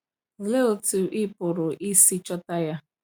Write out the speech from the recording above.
Olee otú ị pụrụ isi chọta ya?